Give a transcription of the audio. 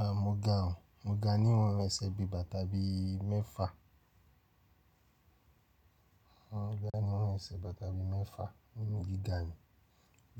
Ahn, mo ga òo, mo ga ní ìwọ̀n ẹsẹ̀ bí i bàtà bí i mẹ́fa. Mo ga ní ìwọ̀n ẹsẹ̀ bàtà bí i mẹ́fa, bi mo se ga nu, mo